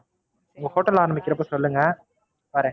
நீங்க Hotel ஆரம்பிக்கும்போது சொல்லுங்க வரேன்.